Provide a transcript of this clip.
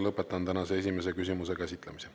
Lõpetan tänase esimese küsimuse käsitlemise.